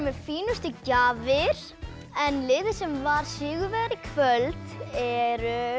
fínustu gjafir en liðið sem var sigurvegari í kvöld er